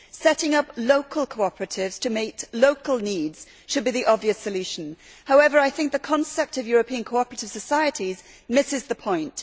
Setting up local cooperatives to meet local needs should be the obvious solution. However, I think the concept of European cooperative societies misses the point.